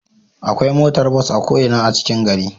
Akwai motar bus a ko Ina a cikin gari